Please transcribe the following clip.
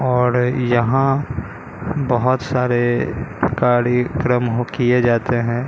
और यहां बहोत सारे कार्यक्रम हो किए जाते है।